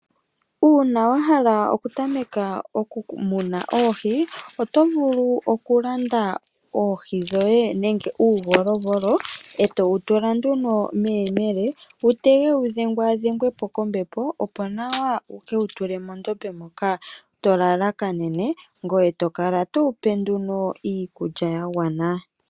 Uuna wahala okutameka okumuna oohi , oto vulu okulanda oohi dhoye nenge uuvolovolo, etowu tula nduno meyemele wutege wudhengwaadhengwepo kombepo ,opo yekewu tule mondombe moka tolalakanene , eto kala towu pe nduno iikulya yagwana.